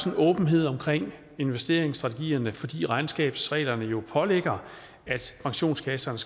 en åbenhed om investeringsstrategierne fordi regnskabsreglerne jo pålægger pensionskasserne